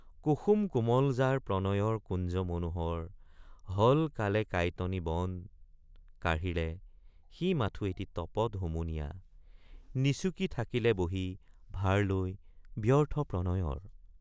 কুসুম কোমল যাৰ প্ৰণয়ৰ কুঞ্জ মনোহৰ হল কালে কাইটনি বন কাঢ়িলে সি মাথো এটি তপত হুমুনিয়া নিচুকি থাকিলে বহি ভাৰ লৈ ব্যৰ্থ প্ৰণয়ৰ।